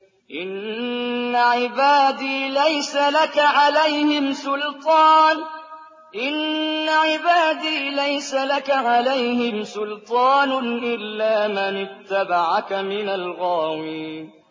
إِنَّ عِبَادِي لَيْسَ لَكَ عَلَيْهِمْ سُلْطَانٌ إِلَّا مَنِ اتَّبَعَكَ مِنَ الْغَاوِينَ